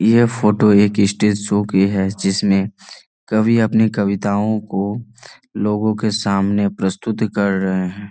ये फ़ोटो एक stage show की हैजिसमे कवि अपनी कविताओ को लोगों के सामने प्रस्तुत कर रहे है।